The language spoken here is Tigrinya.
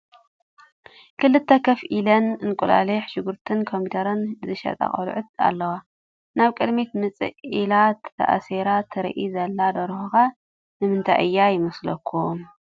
ክልተ ከፍ ኢለን እንቁላሊሕ፣ ሽጉርቲን ኮሚደረን ዝሸጣ ቆልዑት ኣለዋ፡፡ ናብ ቅድሚት ምፅእ ኢላ ተኣሲራ ትረአ ዘላ ደርሆ ኸ ንምንታይ እያ ይመስለኩም?